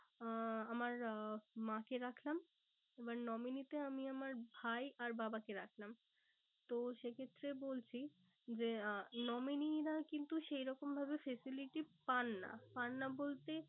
আহ আমার আহ মা কে রাখলাম। এবার nominee তে আমি আমার ভাই আর বাবাকে রাখলাম। তো সে ক্ষেত্রে বলছি যে আহ nominee রা কিন্তু সেরকম ভাবে facility পান না। পান না বলতে